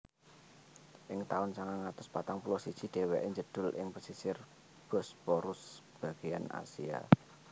Ing taun sangang atus patang puluh siji dhèwèké njedhul ing pesisir Bosporus bagéyan Asia